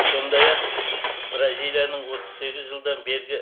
сондай ақ бразилияның отыз сегіз жылдан бергі